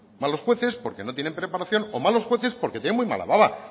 malos jueces porque no tienen preparación o malos jueces porque tienen muy mala baba